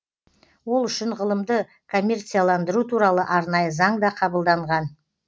ол үшін ғылымды коммерцияландыру туралы арнайы заң да қабылданған